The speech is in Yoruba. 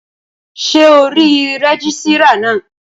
Ṣé ò rí rẹ́gísírà náà?